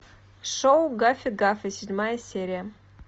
шоу гаффи гафа седьмая серия